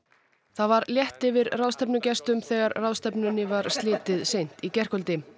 það var létt yfir ráðstefnugestum þegar ráðstefnunni var slitið seint í gærkvöldi